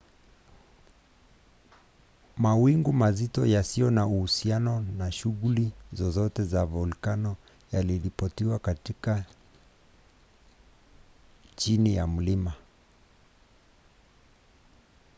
mawingu mazito yasiyo na uhusiano na shughuli zozote za volkano yaliripotiwa katika chini ya mlima